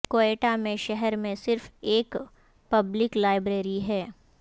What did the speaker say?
کوئٹہ میں شہر میں صرف ایک پبلک لائبریری ہے